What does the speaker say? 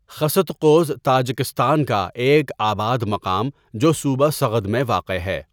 خستقوز Tajikistan کا ایک آباد مقام جو صوبہ سغد میں واقع ہے.